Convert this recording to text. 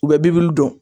U bɛ bi wili dɔrɔn